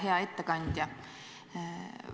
Hea ettekandja!